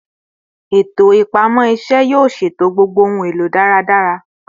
Eto ipamọ irinṣẹ yoo ṣeto gbogbo ohun elo daradara